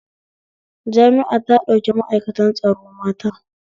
Jami'a ta ɗauki ma'aikatan tsaro mata